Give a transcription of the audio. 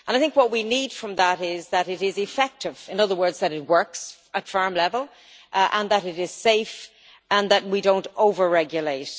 What we need from that is that it is effective in other words, that it works at farm level and that it is safe and that we do not over regulate.